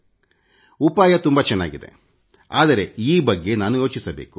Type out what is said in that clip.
ಕಲ್ಪನೆ ತುಂಬಾ ಚೆನ್ನಾಗಿದೆ ಆದರೆ ಈ ಬಗ್ಗೆ ನಾನು ಯೋಚಿಸಬೇಕು